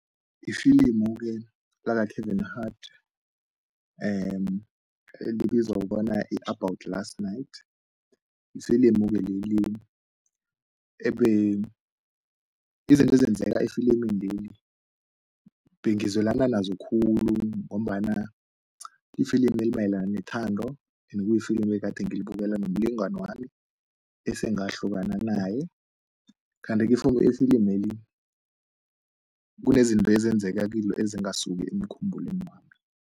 Ifilimu-ke laka-Kevin Hart elibizwa kobana yi-About Last Night yifilimu-ke leli izinto ezenzeka efilimini leli bengizwelana nazo khulu ngombana ifilimi elimayelana nethando ende kuyifilimu ngilibukela nomlingani wami esengahlukana naye kanti-ke ifilimeli kunezinto ezenzeka kilo ezingasisuki emkhumbulweni wami.